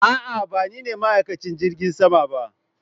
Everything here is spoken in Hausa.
A'a ba nine ma'aikacin jirgin sama ba